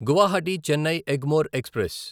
Guwahati Chennai Egmore express